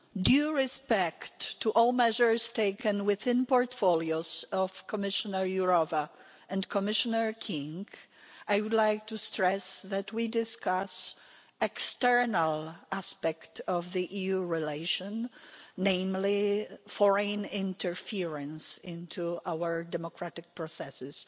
Mr President, with due respect to all measures taken within the portfolios of Commissioner Jourová and Commissioner King, I would like to stress that we discuss the external aspect of EU relations, namely foreign interference into our democratic processes.